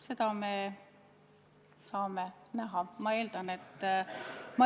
Seda me saame näha.